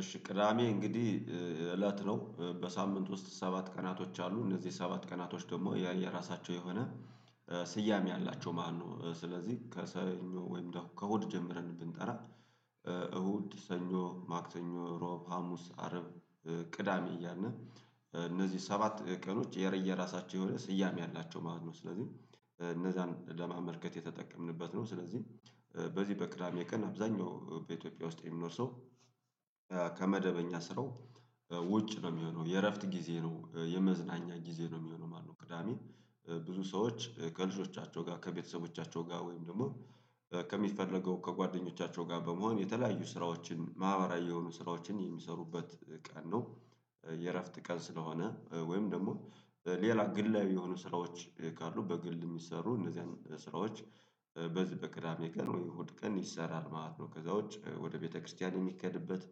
እሺ ቅዳሜ እንግዲህ እለት ነው። በሳምንት ውስጥ ሰባት ቀናቶች አሉ። እነዚህ ሰባት ቀናቶች ደግሞ የየራሳቸው የሆነ ስያሜ አላቸው ማለት ነው። ስለዚህ ከሰኞ ወይም ከእሁድ ጀምረን ብንጠራ እሁድ፣ ሰኞ፣ ማክተኞ፣ ሮብ፣ ሀሙስ፣ አረብ፣ ቅዳሜ እያልን እነዚህ ሰባት ቀኖች የየራሳቸው የሆነ ስያሜ አላቸው ማለት ነው። ስለዚህ እነዛን ለማመልከት የተጠቀምንበት ነው ስለዚህ በዚህ በቅዳሜ ቀን አብዛኛው በኢትዮጵያ ውስጥ የሚኖር ሰው ከመደበኛ ስራው ውጭ ነው የሚሆነው። የእረፍት ጊዜ ነው፣ የመዝናኛ ጊዜ ነው የሚሆነው ማለት ነው ቅዳሜ። ብዙ ሰዎች ከልጆቻቸው ጋር ከቤተሰቦቻቸው ጋር ወይም ደግሞ ከሚፈለገው ከጓደኞቻቸው ጋር በመሆን የተለያዩ ስራዎችን ማህበራዊ የሆኑ ስራዎችን የሚሰሩበት ቀን ነው የእረፍት ቀን ስለሆነ ወይም ደግሞ ሌላ ግላዊ የሆኑ ስራዎች ካሉ በግል የሚሰሩ እነዚህ ስራዎች በዚህ በቅዳሜ ቀን ወይ እሁድ ቀን ይሰራል ማለት ነው። ከዛ ውጭ ወደ ቤተክርስቲያን የሚከድበት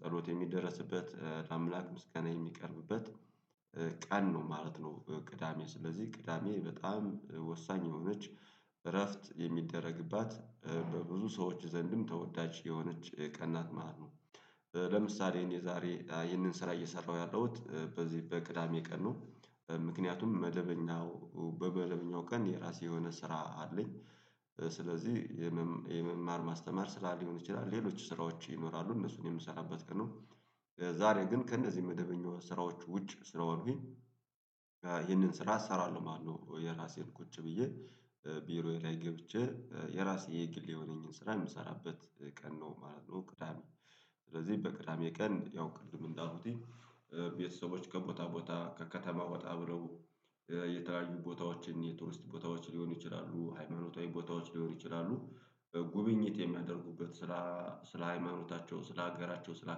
ጸሎት የሚደረስበት ለአምላክ ምስጋና የሚቀርብበት ቀን ነው ማለት ነው ቅዳሜ ስለዚህ ቅዳሜ በጣም ወሳኝ የሆነች እረፍት የሚደረግባት በብዙ ሰዎች ዘንድም ተወዳጅ የሆነች ቀንናት ማለት ነው። ለምሳሌ እኔ ዛሬ ይህንን ስራ እየሰራሁ ያለሁት በዚህ በቅዳሜ ቀን ነው። ምክንያቱም መደበኛው በመደበኛው ቀን የራሴ የሆነ ስራ አለኝ። ስለዚህ የመማር ማስተማር ስራ ሊሆን ይችላል። ሌሎች ስራዎች ይኖራሉ እነሱን የምሰራበት ቀን ነው። ዛሬ ግን ከእነዚህ መደበኛ ስራዎች ውጭ ስለሆንኩኝ ይሄንን ስራ እሰራለሁ ማለት ነው። የራሴን ቁጭ ብዬ ቢሮዬ ላይ ገብቼ የራሴ የግል የሆነኝን ስራ የምሰራበት ቀን ነው ማለት ነው ቅዳሜ ስለዚህ በቅዳሜ ቀን ያው ቅድም እንዳኩትኝ ቤተሰቦች ከቦታ ቦታ ከከተማ ወጣ ብለው የተለያዩ ቦታዎችን የቱርስት ቦታዎች ሊሆኑ ይችላሉ ሃይማኖታዊ ቦታዎች ሊሆኑ ይችላሉ ጉብኝት የሚያደርጉበት ስለ ስለ ሃይማኖታቸው ስለ ሀገራቸው ስለ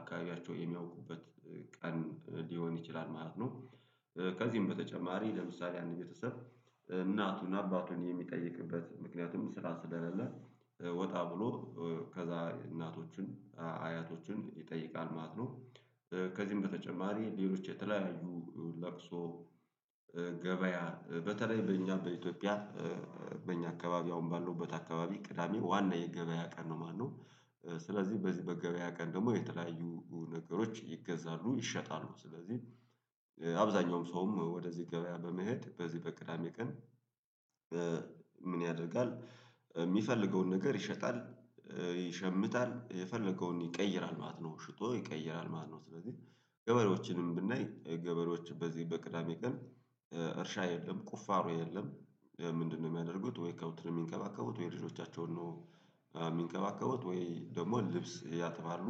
አካባቢያቸው የሚያውቁበት ቀን ሊሆን ይችላል ማለት ነው። ከዚህም በተጨማሪ ለምሳሌ አንድ ቤተሰብ እናቱን አባቱን የሚጠይቅበት ምክንያቱም ስራ ስለሌለ ወጣ ብሎ ከዛ እናቶቹን፣ አያቶቹን ይጠይቃል ማለት ነው። ከዚህም በተጨማሪ ሌሎች የተለያዩ ለቅሶ፣ ገበያ በተለይ በእኛ በኢትዮጵያ በእኛ አካባቢ አሁን ባለውበት አካባቢ ቅዳሜ ዋና የገበያ ቀን ነው ማለት ነው። ስለዚህ በዚህ በገበያ ቀን ደግሞ የተለያዩ ነገሮች ይገዛሉ ይሸጣሉ። ስለዚህ አብዛኛውም ሰውም ወደዚህ ገበያ በመሄድ በዚህ በቅዳሜ ቀን ምን ያደርጋል የሚፈልገውን ነገር ይሸጣል፣ ይሸምታል የፈለገውን ይቀይራል ማለት ነው ሽጦ ይቀይራል ማለት ነው። ስለዚህ ገበሬዎችንም ብናይ ገበሬዎች በዚህ በቅዳሜ ቀን እርሻ የለም። ቁፋሮ የለም። ምንድነው የሚያደርጉት ወይ ከብት ነው የሚንከባከቡት ወይ ልጆቻቸውን ነው የሚንከባከቡት ወይ ደግሞ ልብስ ያጥባሉ፣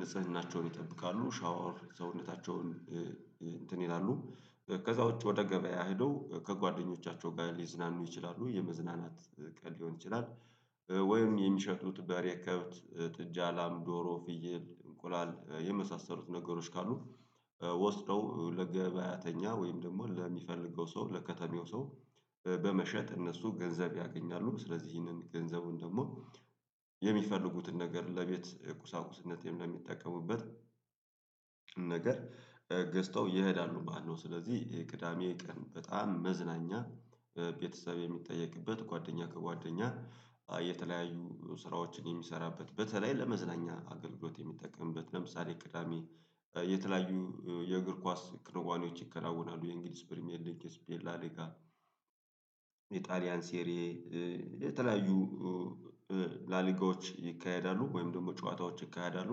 ንጽህናቸው ይጠብቃሉ ሻወር ሰውነታቸውን እንትን ይላሉ ከዛ ውጪ ወደ ገበያ ሄደው ከጓደኞቻቸው ጋር ሊዝናኑ ይችላሉ። የመዝናናት ቀን ሊሆን ይችላል። ወይም የሚሸጡት በሬ፣ ከብት፣ ጥጃ፣ ላም፣ ዶሮ፣ ፍየል፣ እንቁላል የመሳሰሉት ነገሮች ካሉ ወስደው ለገበያተኛ ወይም ደግሞ ለሚፈልገው ሰው ለከተሜው ሰው በመሸጥ እነሱ ገንዘብ ያገኛሉ። ስለዚህ ይህንን ገንዘቡን ደግሞ የሚፈልጉትን ነገር ለቤት ቁሳቁስነት ለሚጠቀሙበት ነገር ገዝተው ይሄዳሉ። ባለው ስለዚህ ቅዳሜ ቀን በጣም መዝናኛ ቤተሰብ የሚጠየቅበት ጓደኛ ከጓደኛ የተለያዩ ስራዎችን የሚሰራበት በተለይ ለመዝናኛ አገልግሎት የሚጠቀምበት ለምሳሌ ቅዳሜ የተለያዩ የእግር ኳስ ክንዋኔዎች ይከናወናሉ። የእንግሊዝ ፕሪሚየር ሊግ፣ የስፔን ላሊጋ፣ የጣሊያን ሴሪ የተለያዩ ላሊጋዎች ይካሄዳሉ ወይም ደግሞ ጨዋታዎች ይካሄዳሉ።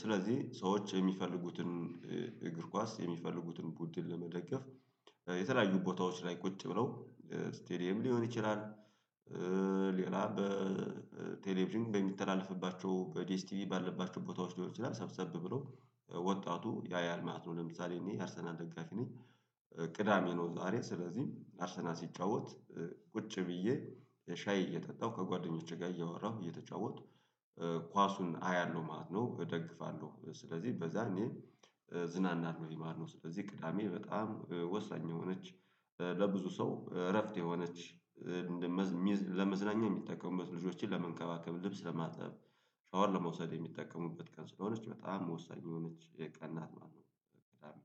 ስለዚህ ሰዎች የሚፈልጉትን እግር ኳስ የሚፈልጉትን ቡድን ለመደገፍ የተለያዩ ቦታዎች ላይ ቁጭ ብለው ስቴዲየም ሊሆን ይችላል። ሌላ በቴሌቭዥን በሚተላለፍባቸው በዲኤስ ቲቪ ባለባቸው ቦታዎች ሊሆን ይችላል። ሰብሰብ ብሎ ወጣቱ ያያል ማለት ነው። ለምሳሌ እኔ የአርሰናል ደጋፊ ነኝ። ቅዳሜ ነው ዛሬ ስለዚህ አርሰናል ሲጫወት ቁጭ ብዬ ሻይ እየጠጣሁ ከጓደኞቼ ጋር እያወራሁ እየተጫወትኩ ኳሱን አያለሁ ማለት ነው፣ እደግፋለሁ። ስለዚህ በዛ እኔ እዝናናለሁኝ ማለት ነው። ስለዚህ ቅዳሜ በጣም ወሳኝ የሆነች ለብዙ ሰው እረፍት የሆነች መዝ ሚዝ ለመዝናኛ የሚጠቀሙበት፣ ልጆችን ለመንከባከብ፣ ልብስ ለማጠብ፣ ሻወር ለመውሰድ የሚጠቀሙበት ቀን ስለሆነች በጣም ወሳኝ የሆነች የቀንናት ማለት ነው።